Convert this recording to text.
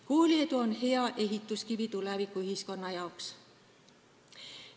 Kooliedu on hea ehituskivi tulevikuühiskonna jaoks.